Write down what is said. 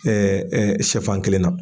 sɛfan kelen na